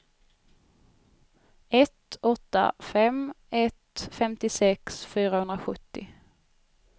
ett åtta fem ett femtiosex fyrahundrasjuttio